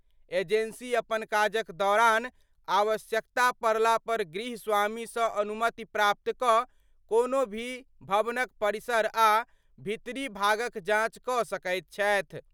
Agency अपन काजक दौरान आवश्यकता पड़ला पर गृह स्वामी सं अनुमति प्राप्त कऽ कोनो भी भवनक परिसर आ भीतरी भागक जांच कऽ सकैत छथि।